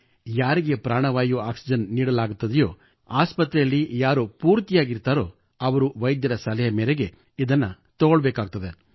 ಯಾರಿಗೆ ಪ್ರಾಣವಾಯು ಆಕ್ಸಿಜೆನ್ ನೀಡಲಾಗುತ್ತದೆಯೋ ಆಸ್ಪತ್ರೆಯಲ್ಲಿ ಯಾರು ಭರ್ತಿಯಾಗುತ್ತಾರೋ ಅವರು ವೈದ್ಯರ ಸಲಹೆ ಮೇರೆಗೆ ಇದನ್ನು ತೆಗೆದುಕೊಳ್ಳಬೇಕು